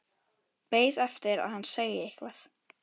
Beið eftir að hann segði eitthvað.